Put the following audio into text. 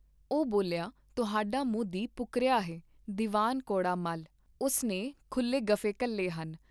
ਉਹ ਬੋਲਿਆ ਤੁਹਾਡਾ ਮੋਦੀ ਪੁਕਰਿਆ ਹੈ ਦੀਵਾਨ ਕੌੜਾ ਮੱਲ, ਉਸ ਨੇ ਖੁੱਲ੍ਹੇ ਗੱਫ਼ੇ ਘੱਲੇ ਹਨ।